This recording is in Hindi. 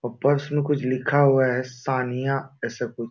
और पर्स में कुछ लिखा हुआ है सानिया ऐसा कुछ।